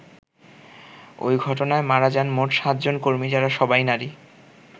ওই ঘটনায় মারা যান মোট সাতজন কর্মী যারা সবাই নারী।